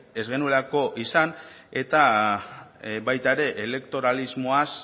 ez genuelako izan eta baita ere elektoralismoaz